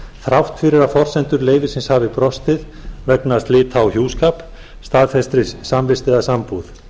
þrátt fyrir að forsendur leyfisins hafi brostið vegna slita á hjúskap staðfestri samvist eða sambúð